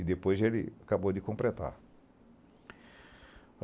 E depois ele acabou de completar.